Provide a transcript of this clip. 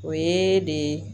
O ye de